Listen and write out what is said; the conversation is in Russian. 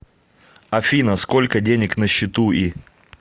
афина сколько денег на счету и